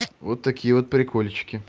вот такие вот прикольчики